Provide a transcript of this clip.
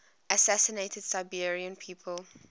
assassinated serbian people